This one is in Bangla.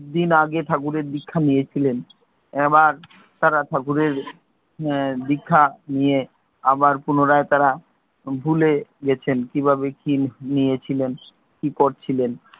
দিন আগে ঠাকুরের দীক্ষা নিয়েছিলেন, এবার তারা ঠাকুরের দীক্ষা নিয়ে আবার পুনরায় তারা ভুলে গেছেন কি ভাবে কি নিয়েছিলেন কি করছিলেন।